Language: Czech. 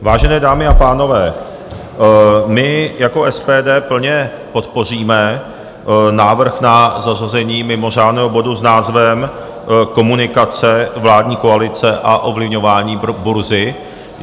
Vážené dámy a pánové, my jako SPD plně podpoříme návrh na zařazení mimořádného bodu s názvem Komunikace vládní koalice a ovlivňování burzy.